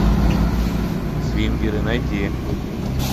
свингеры найти